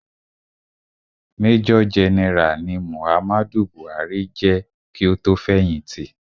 Major general ni Muhammadu Buhari je ki o tó fẹ̀hìtì.